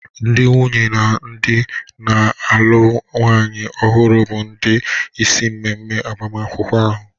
Ndị nwunye na ndị na-alụ nwanyị ọhụrụ bụ ndị isi n'ememe agbamakwụkwọ ahụ.